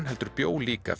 heldur bjó líka